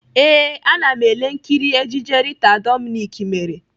Ee, ana m ele nkiri ejije Rita Dominic mere.